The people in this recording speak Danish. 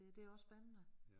Der det også spændende